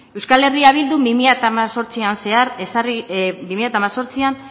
euskal herria bildu bi mila hemezortzian zehar